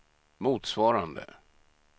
motsvarande